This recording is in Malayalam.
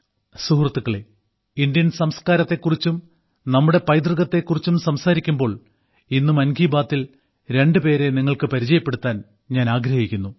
സുഹൃത്തുക്കളേ ഇന്ത്യൻ സംസ്കാരത്തെക്കുറിച്ചും നമ്മുടെ പൈതൃകത്തെക്കുറിച്ചും സംസാരിക്കുമ്പോൾ ഇന്ന് മൻ കി ബാത്തിൽ രണ്ട് പേരെ നിങ്ങൾക്ക് പരിചയപ്പെടുത്താൻ ഞാൻ ആഗ്രഹിക്കുന്നു